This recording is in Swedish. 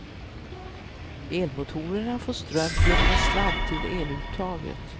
Elmotorerna får ström genom en sladd till eluttaget.